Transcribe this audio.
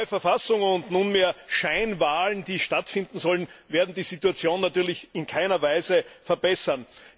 Die neue Verfassung und nunmehr Scheinwahlen, die stattfinden sollen, werden die Situation natürlich in keiner Weise verbessern.